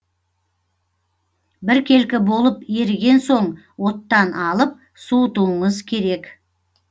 біркелкі болып еріген соң оттан алып суытуыңыз керек